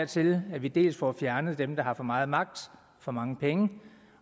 til at vi vi får fjernet dem der har for meget magt og for mange penge